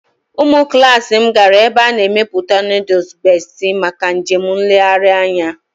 Ụmụ klas m gara ebe a na-emepụta nooduls Bestị maka njem nlegharị anya